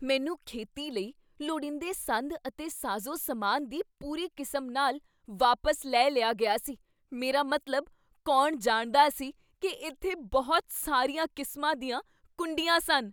ਮੈਨੂੰ ਖੇਤੀ ਲਈ ਲੋੜੀਂਦੇ ਸੰਦ ਅਤੇ ਸਾਜ਼ੋ ਸਾਮਾਨ ਦੀ ਪੂਰੀ ਕਿਸਮ ਨਾਲ ਵਾਪਸ ਲੈ ਲਿਆ ਗਿਆ ਸੀ ਮੇਰਾ ਮਤਲਬ, ਕੌਣ ਜਾਣਦਾ ਸੀ ਕੀ ਇੱਥੇ ਬਹੁਤ ਸਾਰੀਆਂ ਕਿਸਮਾਂ ਦੀਆਂ ਕੁੰਡੀਆਂ ਸਨ?